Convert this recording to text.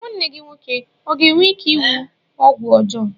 Nwanne gị nwoke ọ ga-enwe ike iwu ọgwụ ọjọọ?